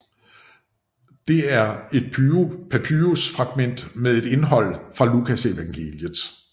Det er et papyrus fragment med et indhold fra Lukasevangeliet